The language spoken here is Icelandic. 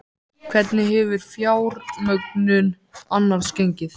Hvernig hefur fjármögnun annars gengið?